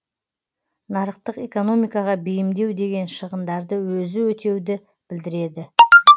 нарықтық экономикаға бейімдеу деген шығындарды өзі өтеуді білдіреді